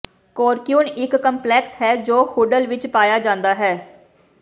ਕੌਰਕੁਿਊਨ ਇੱਕ ਕੰਪਲੈਕਸ ਹੈ ਜੋ ਹੂਡਲ ਵਿੱਚ ਪਾਇਆ ਜਾਂਦਾ ਹੈ